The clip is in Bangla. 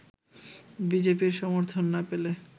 বি জে পি-র সমর্থন না পেলে